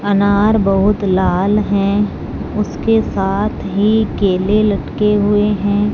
अनार बहुत लाल हैं उसके साथ ही केले लटके हुएं हैं।